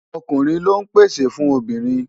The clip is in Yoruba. Ọkùnrin lọ ń pèsè fún obìnrin.